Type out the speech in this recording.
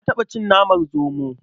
Na taɓa cin naman zomo.